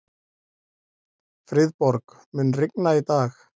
Friðborg, mun rigna í dag?